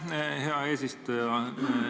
Aitäh, hea eesistuja!